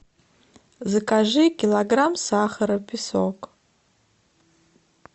закажи килограмм сахара песок